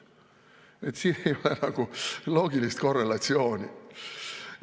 Nii et siin ei ole nagu loogilist korrelatsiooni.